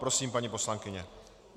Prosím, paní poslankyně.